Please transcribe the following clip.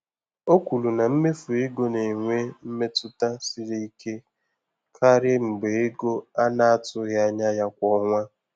O kwuru na mmefu ego na-enwe mmetụta siri ike karị mgbe ego a na-atụghị anya ya kwa ọnwa.